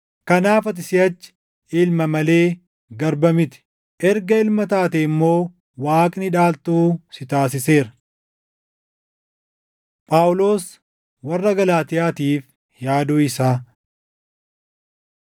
Kanaaf ati siʼachi ilma malee garba miti; erga ilma taatee immoo Waaqni dhaaltuu si taasiseera. Phaawulos Warra Galaatiyaatiif Yaaduu Isaa